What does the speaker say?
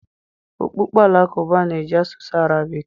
okpukpe Alakụba na-eji asụsụ Arabik.